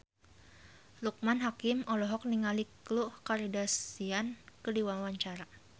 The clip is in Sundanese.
Loekman Hakim olohok ningali Khloe Kardashian keur diwawancara